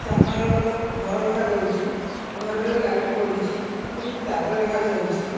ସାମ୍ନାରେ ଗୋଟେ ଘର ଦେଖାଯାଉଚି ଘରରେ ଲାଇଟ୍ ପଡ଼ିଚି କିଛି ତାଜା ଦେଖାଯାଉଚି ।